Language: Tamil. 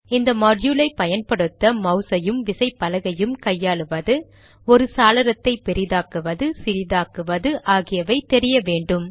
இந்த மாட்யூலை பயன்படுத்த மௌஸ் ஐயும் விசைப்பலகையும் கையாளுவது ஒரு சாளரத்தை பெரிதாக்குவது சிறிதாக்குவது ஆகியவை தெரிய வேண்டும்